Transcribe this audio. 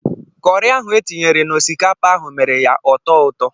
Kọrị ahụ etinyere n'osikapa ahụ mere ya ọ tọọ ụtọ.